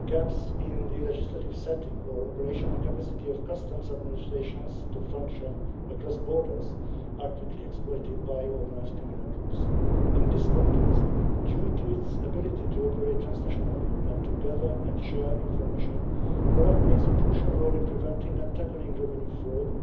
any gaps in the legislative setting or operational capacity of customs administrations to function across borders are quickly exploited by organised criminal groups. In this context, due to its ability to operate transnationally and to gather and share information, OLAF plays a crucial role in preventing and tackling revenue fraud,